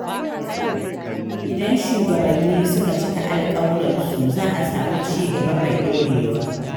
Idan shugabanni suna cika alƙawuransu, za a samu ci gaba mai ɗorewa.